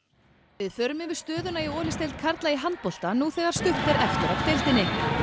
við förum yfir stöðuna í Olísdeild karla í handbolta nú þegar stutt er eftir af deildinni